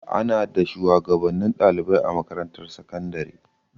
Ana da shuwagabannin ɗalibai a makarantar sakandare.